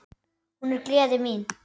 Hún er gleði mín.